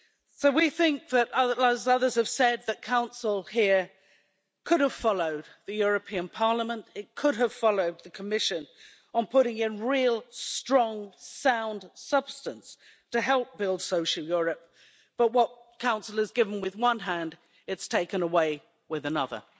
So we think, as others have said, that Council here could have followed the European Parliament, it could have followed the Commission, on putting in real strong, sound substance to help build social Europe, but what Council has given with one hand it has taken away with another.